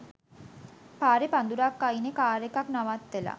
පරෙ පඳුරක් අයිනෙ කාර් එකක් නවත්තල